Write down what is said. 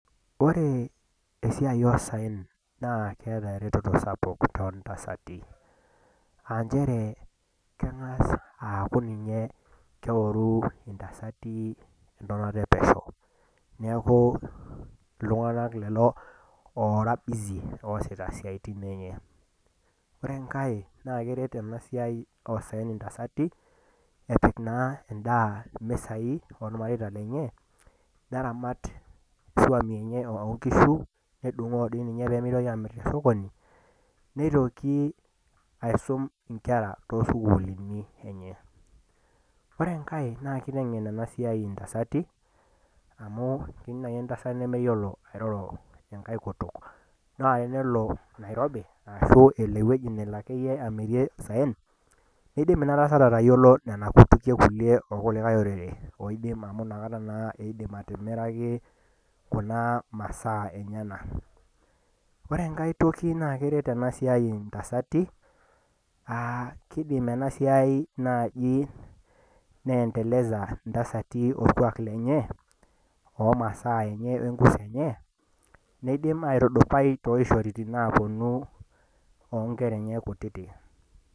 ore esiai oo saen naa keeta eretoto sapuk too ntasati aa nchere keng'as awuoru intasati entonata epesho , neeku iltung'anak lelo oora bisi too siatin enye , ore enkae naa keret ena siai intasati epik naa edaa imisai oormareita lenye, neramat isuam enye oonkishu nedung'oo diinye pee mitoki aamir tesokoni, nitoki aisum inkera too sukulini enye ore engae naa kiteng'en ena siai intasati amu ketii naaji enkae tasat nemeyiolo airoro enkai kutuk, naa tenelo nairobi ashuu elo akeyie eweji nelo amirie isayen iidim inatasat atayiolo nena kutukie ilo likae orere , amu inakata naa idim atimiraki kuna masaa enyanak, ore enkae toki naa keret enasiai intasati aa kidim esiai naaji neenteleza iltung'anak olkuak lenye, loo masaa enye wenkuso enye nidim aitudutai toishoritin enye too nkolong'i naa puonu.